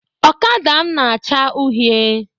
Ọkada m na acha uhie